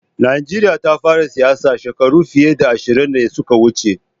Najeriya ta fara siyasa shekaru fiye da ashirin da suka wuce.